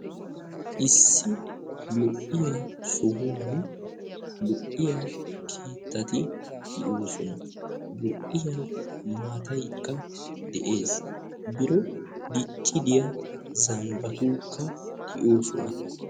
Issi lo"iya sohuwan lo"iya keettaati de'oosona. Lo'iya maataykka de'ees. Biron dicci biya zambbayunkka de'oosona.